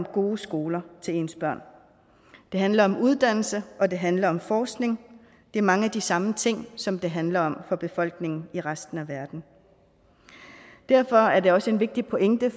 gode skoler til ens børn det handler om uddannelse og det handler om forskning det er mange af de samme ting som det handler om for befolkningen i resten af verden derfor er der også en vigtig pointe